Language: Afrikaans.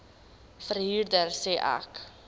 verhuurder sê ek